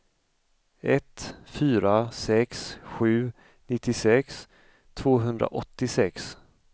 ett fyra sex sju nittiosex tvåhundraåttiosex